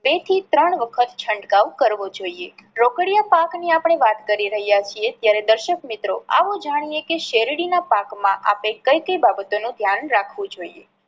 બે થી ત્રણ વખત છંટકાવ કરવો જોઈએ. રોકડીયા પાક ની આપણે વાત કરી રહ્યા છીએ ત્યારે દર્શક મિત્રો આવો જાણીએ કે શેરડી ના પાક માં આપણે કઈ કઈ બાબતો નું ધ્યાન રાખવું જોઈએ.